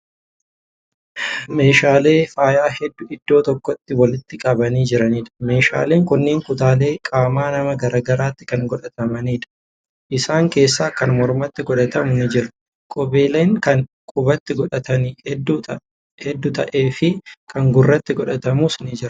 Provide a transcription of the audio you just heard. Meeshaalee faayaa hedduu iddoo tokkootti walitti qabanii jiraniidha. meeshaleen kunniin kutaalee qaama namaa garagaraattii Kan godhatamaniidha. isaan. keessa Kan mormatti godhatamu ni jira. qubeellaan Kan qubatti godhatanii hedduu ta'ee fi Kan gurratti godhatamus ni Jira.